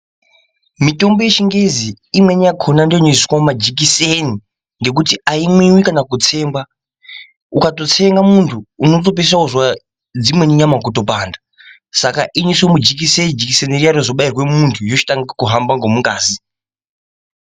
Mitombo yechingezi imweni yakhona inobairwa pamajikiseni nekuti haimwiwi kana kutsengwa ukatosiira muntu unopedzisira wonzwa nyama dzimweni kupanda saka inoiswa mujikiseni jikiseni Riya rozobairwa muntu rochitanga kuhamba ngemungazi.